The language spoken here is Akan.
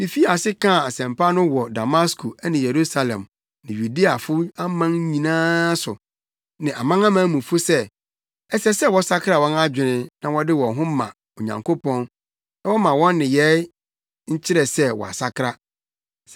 Mifii ase kaa asɛmpa no wɔ Damasko ne Yerusalem ne Yudeafo aman nyinaa so ne amanamanmufo mu sɛ, ɛsɛ sɛ wɔsakra wɔn adwene na wɔde wɔn ho ma Onyankopɔn na wɔmma wɔn nneyɛe nkyerɛ sɛ wɔasakra.